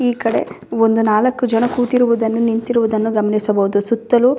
ಈ ಕಡೆ ಒಂದು ನಾಲಕು ಜನ ಕೂತಿರುವುದನ್ನು ನಿಂತಿರುವುದನ್ನು ಗಮನಿಸಬಹುದು ಸುತ್ತಲು--